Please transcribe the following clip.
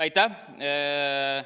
Aitäh!